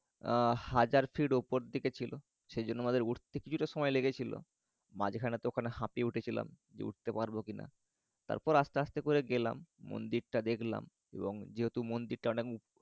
আহ হাজার ফিট ওপর দিকে ছিল। সেজন্য আমাদের উঠতে কিছুটা সময় লেগেছিল মাঝাখানে তো ওখানে হাপিয়ে উঠেছিলাম। যে উঠতে পারবো কিনা। তারপরে আসতে আসতে করে গেলাম। মন্দিরটা দেখলাম। এবং যেহেতু মন্দিরটা অনেক